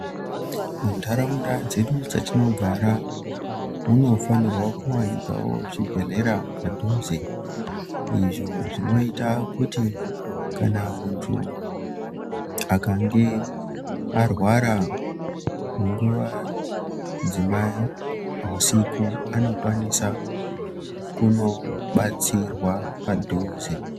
Muntaraunda dzedu dzatinogara munofanirwa kuvanikavo zvibhedhlera padhuze. Izvo zvinota kuti kana muntu akange arwara munguva dzemahusiku anokwanisa kunobatsirwa padhuze.